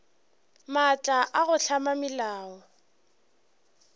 maatla a go hlama melao